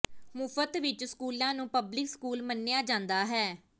ਮੁਫਤ ਉੱਚ ਸਕੂਲਾਂ ਨੂੰ ਪਬਲਿਕ ਸਕੂਲ ਮੰਨਿਆ ਜਾਂਦਾ ਹੈ